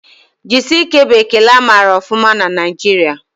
Jisike' bụ ekele amara ọfụma na Naijiria